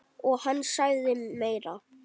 Og hann sagði meira.